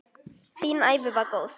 Þín ævi var góð.